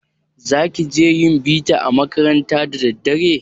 Za ki je yin bita a makaranta da daddare?